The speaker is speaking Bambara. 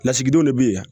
Lasigidenw de bɛ yan